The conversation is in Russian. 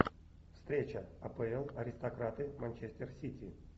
встреча апл аристократы манчестер сити